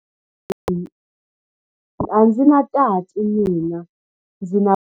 A ndzi na tati mina, ndzi na buti ntsena.